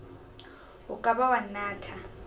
o ka ba wa nnatha